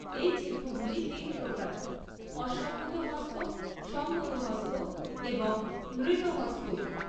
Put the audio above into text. এই চিহ্নগুলি তিন প্রকার, অসম্যুত হস্ত, সম্যুত হস্ত এবং নৃত হস্ত।